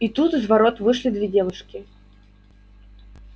и тут из ворот вышли две девушки